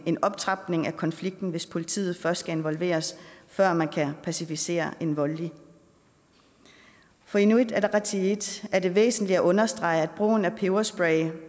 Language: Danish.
en optrapning af konflikten hvis politiet først skal involveres før man kan pacificere en voldelig for inuit ataqatigiit er det væsentligt at understrege at brugen af peberspray